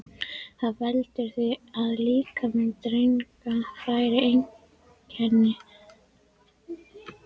Það veldur því að líkami drengja fær einkenni karlmanna.